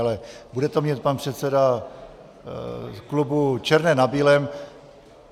Ale bude to mít pan předseda klubu černé na bílém.